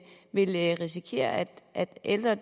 vi risikerer at at ældre